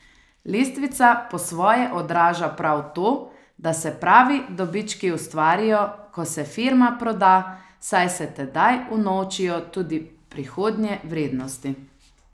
Lestvica po svoje odraža prav to, da se pravi dobički ustvarijo, ko se firma proda, saj se tedaj unovčijo tudi prihodnje vrednosti.